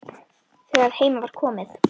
Þegar heim var komið.